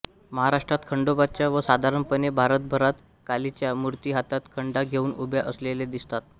महाराष्ट्रात खंडोबाच्या व साधारणपणे भारतभरात कालीच्या मूर्ती हातात खंडा घेऊन उभ्या असलेल्या दिसतात